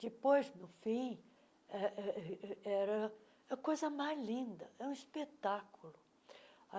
Depois, no fim, eh eh era a coisa mais linda, era um espetáculo.